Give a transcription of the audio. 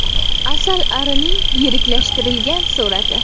Asalarining yiriklashtirilgan surati.